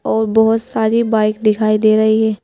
और बहोत सारी बाइक दिखाई दे रही है।